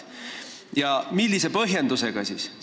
Ja millise põhjendusega?